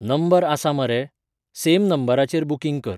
Number आसा मरे? Same नंबराचेर बुकिंग कर.